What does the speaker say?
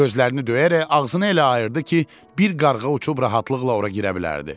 Gözlərini döyərək ağzını elə ayırdı ki, bir qarğa uçub rahatlıqla ora girə bilərdi.